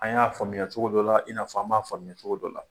An y'a faamuya cogo dɔ la, i n'a fɔ an m'a faamuya cogo dɔ la.